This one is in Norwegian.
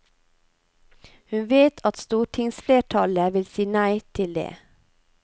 Hun vet at stortingsflertallet vil si nei til det.